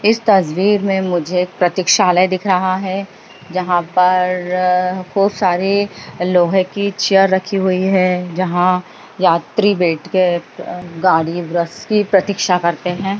इस तस्वीर में मुझे प्रतीक्षालय दिख रहा है जहां पर खूब सारे लोहे की चेयर रखी हुई हैं जहां यात्री बैठ के गाड़ी बस की प्रतीक्षा करते हैं।